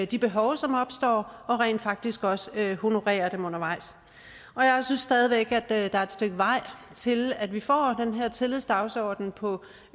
de behov som opstår og rent faktisk også honorere dem undervejs jeg synes stadig væk der er et stykke vej til at vi får den her tillidsdagsorden på